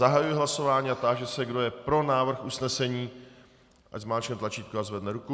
Zahajuji hlasování a táži se, kdo je pro návrh usnesení, ať zmáčkne tlačítko a zvedne ruku.